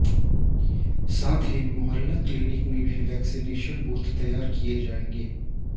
साथ ही मोहल्ला क्लिनिक में भी वैक्सीनेशन बूथ तैयार किये जाएंगे